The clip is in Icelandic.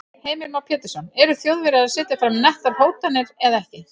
Heimir Már Pétursson: Eru Þjóðverjar að setja fram nettar hótanir eða ekki?